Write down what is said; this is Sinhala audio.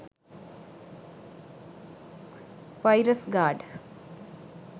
virus gard